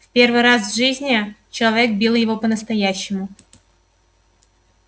в первый раз в жизни человек бил его по настоящему